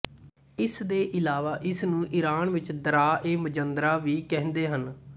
ਇਸਦੇ ਇਲਾਵਾ ਇਸਨੂੰ ਈਰਾਨ ਵਿੱਚ ਦਰਆ ਏ ਮਜੰਦਰਾਂ ਵੀ ਕਹਿੰਦੇ ਹਨ